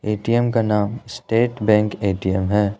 ATM का नाम State Bank ATM है।